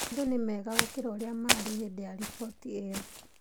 Maũndũ nĩ mega gũkĩra ũrĩa maarĩ hĩndĩ ya riboti ĩyo.